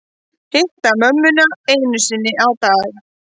Hitta mömmuna einu sinni á dag